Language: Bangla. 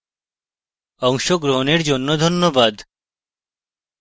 অংশগ্রহনের জন্যে ধন্যবাদ